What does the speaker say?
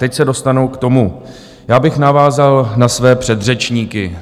Teď se dostanu k tomu, já bych navázal na své předřečníky.